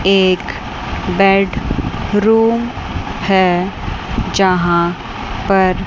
एक bedroom है जहां पर--